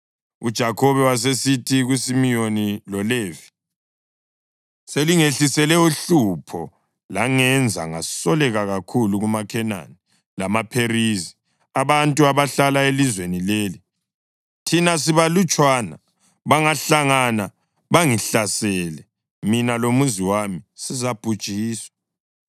UJakhobe wasesithi kuSimiyoni loLevi, “Selingehlisele uhlupho langenza ngasoleka kakhulu kumaKhenani lamaPherizi, abantu abahlala elizweni leli. Thina sibalutshwana, bangahlangana bangihlasele, mina lomuzi wami sizabhujiswa.”